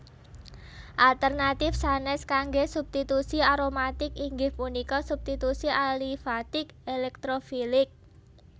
Alternatif sanes kangge substitusi aromatik inggih punika substitusi alifatik elektrofilik